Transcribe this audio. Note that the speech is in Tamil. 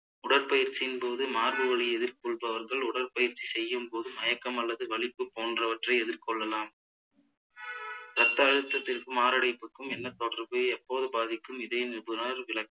உடற்பயிற்சியின் போது மார்பு வலியை எதிரக்கொள்பவர்கள் உடற்பயிற்சி செய்யும் போது மயக்கம் அல்லது வலிப்பு போன்றவற்றை எதிர் கொள்ளலாம் இரத்த அழுத்தத்திற்கும் மாரடைப்புக்கும் என்ன தொடர்பு எப்போது பாதிக்கும் இதய நிபுணர் விள~